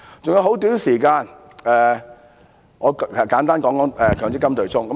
餘下很短時間，我簡單談談強制性公積金對沖。